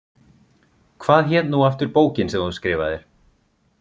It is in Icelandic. Hvað hét nú aftur bókin sem þú skrifaðir?